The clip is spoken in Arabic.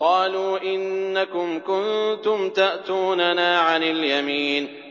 قَالُوا إِنَّكُمْ كُنتُمْ تَأْتُونَنَا عَنِ الْيَمِينِ